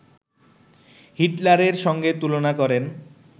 হিটলারের সঙ্গে তুলনা করেন